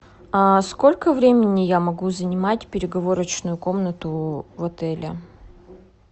сколько времени я могу занимать переговорочную комнату в отеле